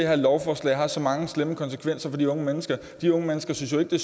her lovforslag har så mange slemme konsekvenser for de unge mennesker de unge mennesker synes jo ikke det